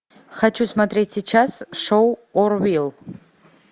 хочу смотреть сейчас шоу орвилл